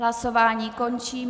Hlasování končím.